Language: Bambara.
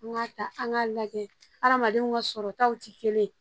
An k'a ta an k'a lajɛ hadamadenw ka sɔrɔtaw tɛ kelen